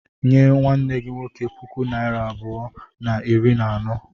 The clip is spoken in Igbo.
Nye nwanne gi nwoke puku naịra abụọ na iri na anọ.